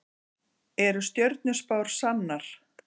Eru stjörnuspár sannar?